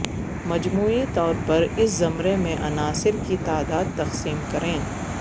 مجموعی طور پر اس زمرے میں عناصر کی تعداد تقسیم کریں